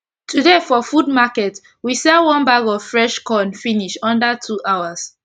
today for food market we sell one bag of fresh corn finish under two hours